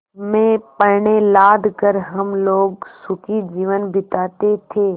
में पण्य लाद कर हम लोग सुखी जीवन बिताते थे